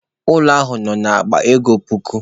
Ụlọ ahụ nọ na akpa ego puku.